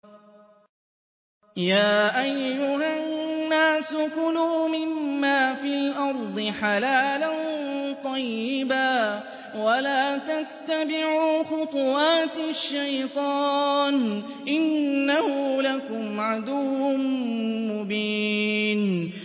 يَا أَيُّهَا النَّاسُ كُلُوا مِمَّا فِي الْأَرْضِ حَلَالًا طَيِّبًا وَلَا تَتَّبِعُوا خُطُوَاتِ الشَّيْطَانِ ۚ إِنَّهُ لَكُمْ عَدُوٌّ مُّبِينٌ